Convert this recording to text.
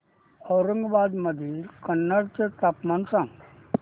औरंगाबाद मधील कन्नड चे तापमान सांग